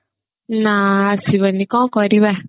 ନା ଆସିବନି କଣ କରିବା